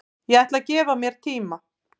Ég ætla að gefa mér tíma